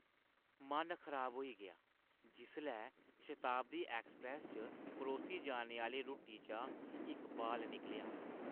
मन खराब होई गेआ जिसलै शताब्दी ऐक्सप्रैस्स च परोसी जाने आह्‌ली रुट्टी चा इक बाल निकलेआ।